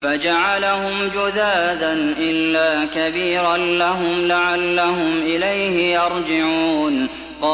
فَجَعَلَهُمْ جُذَاذًا إِلَّا كَبِيرًا لَّهُمْ لَعَلَّهُمْ إِلَيْهِ يَرْجِعُونَ